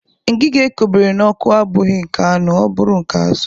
Ngiga e kobere n'ọkụ abụghị nke anụ ọ bụrụ nke azụ